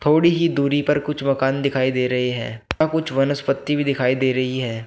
थोड़ी ही दूरी पर कुछ मकान दिखाई दे रहे हैं यहां कुछ वनस्पति भी दिखाई दे रही है।